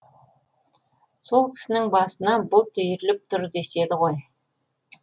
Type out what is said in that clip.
сол кісінің басына бұлт үйіріліп тұр деседі ғой